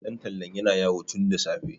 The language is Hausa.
ɗan tallan yana yawo tun da safe